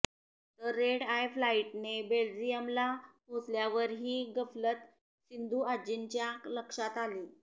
तर red eye फ्लाईटने बेल्जियमला पोचल्यावर ही गफलत सिंधुआज्जींच्या लक्षात आली